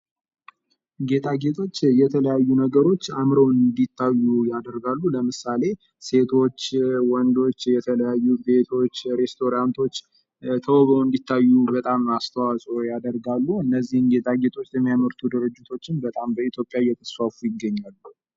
ጌጣጌጦች የተለያዩ ነገሮች አምረው እንድታዩ ያደርጋሉ ለምሳሌ ሴቶች ወንዶች የተለያዩ ቤቶች ሬስቶራንቶች ተውበው እንድታዩ በጣም አስተዋፅኦ ያደርጋሉ እነዚህም ጌጣጌጦች የሚያመርቱ ድርጅቶችም በጣም በኢትዮጵያ እየተስፋፉ ይገኛሉ።